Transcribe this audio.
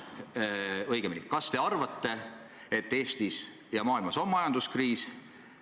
Kas te arvate, et Eestis ja mujal maailmas on majanduskriis?